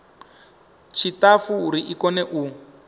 tshiṱafu uri i kone u